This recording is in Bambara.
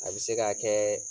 A bɛ se ka kɛ